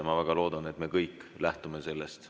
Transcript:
Ma väga loodan, et me kõik lähtume sellest.